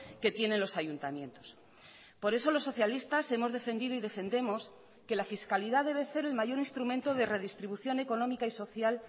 que tienen los ayuntamientos por eso los socialistas hemos defendido y defendemos que la fiscalidad debe ser el mayor instrumento de redistribución económica y social